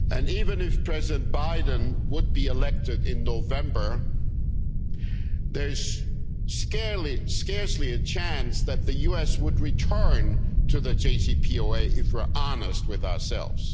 Even if President Biden were to be elected in November, there is scarcely a chance that the US would return to the JCPOA, if we are honest with ourselves.